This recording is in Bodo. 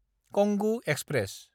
कंगु एक्सप्रेस